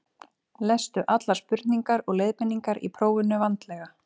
Lestu allar spurningar og leiðbeiningar í prófinu vandlega.